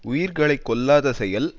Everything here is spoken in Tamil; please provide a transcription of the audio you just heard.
உயிர்களை கொல்லாத செயல்